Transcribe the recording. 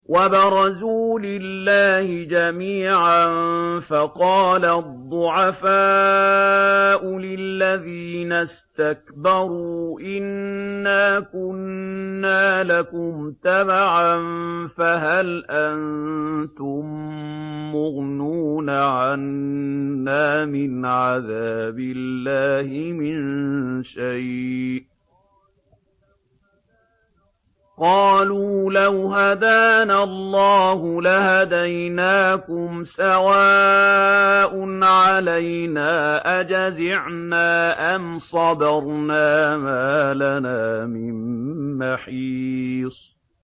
وَبَرَزُوا لِلَّهِ جَمِيعًا فَقَالَ الضُّعَفَاءُ لِلَّذِينَ اسْتَكْبَرُوا إِنَّا كُنَّا لَكُمْ تَبَعًا فَهَلْ أَنتُم مُّغْنُونَ عَنَّا مِنْ عَذَابِ اللَّهِ مِن شَيْءٍ ۚ قَالُوا لَوْ هَدَانَا اللَّهُ لَهَدَيْنَاكُمْ ۖ سَوَاءٌ عَلَيْنَا أَجَزِعْنَا أَمْ صَبَرْنَا مَا لَنَا مِن مَّحِيصٍ